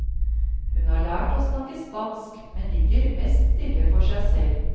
Hun har lært å snakke spansk, men ligger mest stille for seg selv.